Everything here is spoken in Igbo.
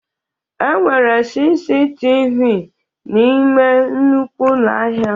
Enwere CCTV n'ime nnukwu ụlọ ahịa